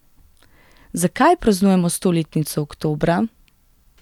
Zakaj praznujemo stoletnico oktobra?